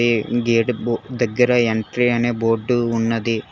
గే gate దగ్గర entry అనే board ఉన్నది